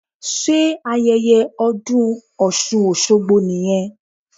Sé ayẹyẹ ọdún osun osogbo nìyẹn?